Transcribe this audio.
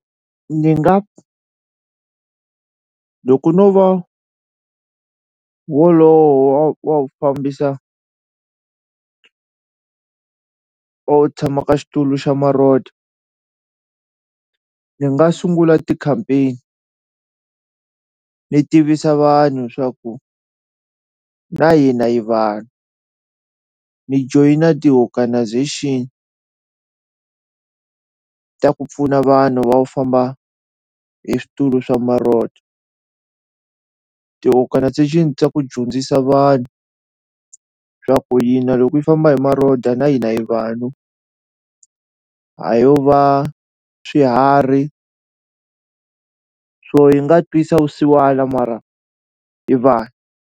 Ni nga ku loko no va wolowo wa wa ku fambisa or u tshama ka xitulu xa ni nga sungula ti-campaign ni tivisa vanhu swa ku na hina hi vanhu ni joyina ti-organisation ta ku pfuna vanhu va wu famba hi switulu swa ti-organisation ta ku dyondzisa vanhu swa ku yi na loko yi famba hi na hina hi vanhu ha yo va swiharhi swo yi nga twisa vusiwana mara hi vanhu.